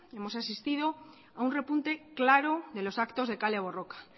hemos asistido a un repunte claro de los actos de kale borroka